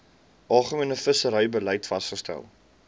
algemene visserybeleid vasgestel